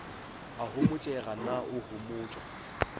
a homotšega na o homotšwa